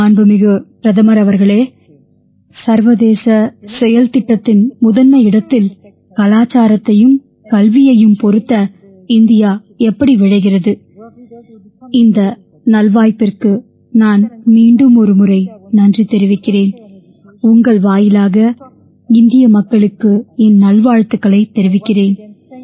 மாண்புமிகு பிரதமர் அவர்களே சர்வதேச செயல்திட்டத்தின் முதன்மை இடத்தில் கலாச்சாரத்தையும் கல்வியையும் பொருத்த இந்தியா எப்படி விழைகிறது இந்த நல்வாய்ப்பிற்கு நான் மீண்டுமொருமுறை நன்றி தெரிவிக்கிறேன் உங்கள் வாயிலாக இந்திய மக்களுக்கு என் நல்வாழ்த்துக்களைத் தெரிவிக்கிறேன்